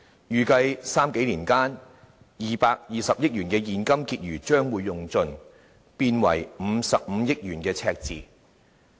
預計在三數年間 ，220 億元的現金結餘將會耗盡，變為55億元的赤字。